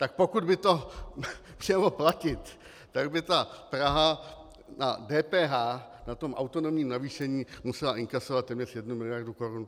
Tak pokud by to chtělo platit, tak by ta Praha na DPH na tom autonomním navýšení musela inkasovat téměř jednu miliardu korun.